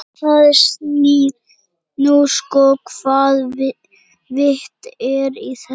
Það sýnir nú sko hvaða vit er í þessu.